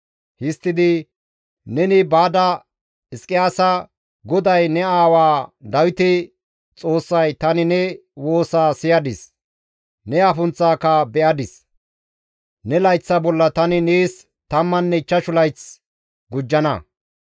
Histtidi, «Neni baada Hizqiyaasa, ‹GODAY ne aawaa Dawite Xoossay, Tani ne woosaa siyadis; ne afunththaaka be7adis. Ne layththa bolla tani nees tammanne ichchashu layth gujjana.